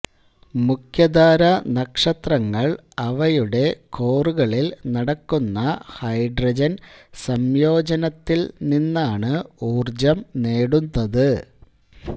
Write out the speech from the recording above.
മുഖ്യധാരാനക്ഷത്രങ്ങൾ അവയുടെ കോറുകളിൽ നടക്കുന്ന ഹൈഡ്രജൻ സംയോജനത്തിൽ നിന്നാണ് ഊർജ്ജം നേടുന്നത്